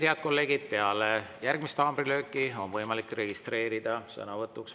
Head kolleegid, peale järgmist haamrilööki on võimalik registreeruda sõnavõtuks vabas mikrofonis.